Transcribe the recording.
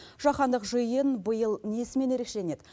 жахандық жиын биыл несімен ерекшеленеді